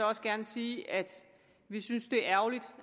også gerne sige at vi synes det er ærgerligt